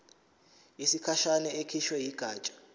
yesikhashana ekhishwe yigatsha